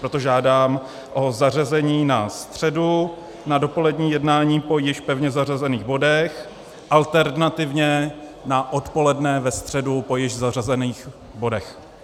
Proto žádám o zařazení na středu, na dopolední jednání po již pevně zařazených bodech, alternativně na odpoledne ve středu po již pevně zařazených bodech.